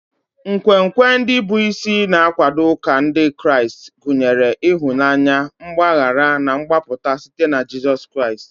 Nkwenkwe ndị bụ isi na-akwado ụka Ndị Kraịst gụnyere ịhụnanya, mgbaghara, na mgbapụta site na Jizọs Kraịst.